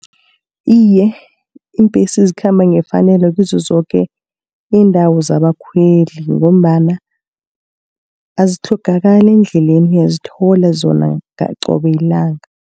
Iye iimbhesi ezikhamba ngefanelo kizo zoke iindawo zabakhweli, ngombana azitlhogakali endleleni uyazithola zona qobe lilanga.